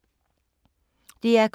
DR K